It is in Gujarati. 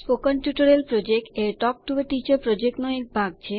સ્પોકન ટ્યુટોરીયલ યોજના એ ટોક ટુ અ ટીચર યોજનાનો ભાગ છે